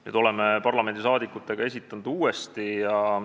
Nüüd oleme esitanud ta uuesti.